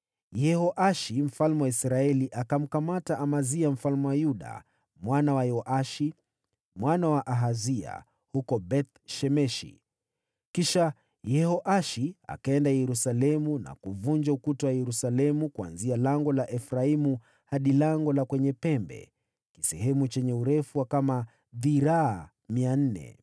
Yehoashi mfalme wa Israeli akamteka Amazia mfalme wa Yuda, mwana wa Yoashi, mwana wa Ahazia, huko Beth-Shemeshi. Kisha Yehoashi akaenda Yerusalemu na kuubomoa ukuta wa Yerusalemu kuanzia Lango la Efraimu hadi Lango la Pembeni, sehemu yenye urefu wa kama dhiraa 400.